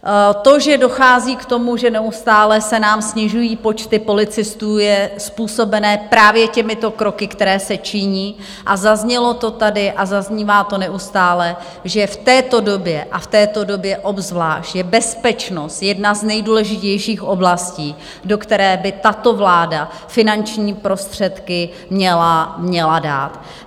To, že dochází k tomu, že neustále se nám snižují počty policistů, je způsobené právě těmito kroky, které se činí, a zaznělo to tady a zaznívá to neustále, že v této době a v této době obzvlášť je bezpečnost jedna z nejdůležitějších oblastí, do které by tato vláda finanční prostředky měla dát.